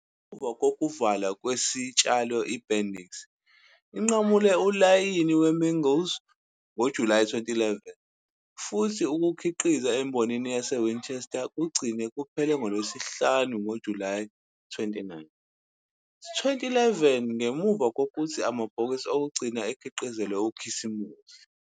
Ngemuva kokuvalwa kwesitshalo iBendicks inqamule ulayini weMingles ngoJulayi 2011, futhi ukukhiqizwa embonini yaseWinchester kugcine kuphele ngoLwesihlanu ngoJulayi 29, 2011 ngemuva kokuthi amabhokisi okugcina akhiqizelwe uKhisimusi.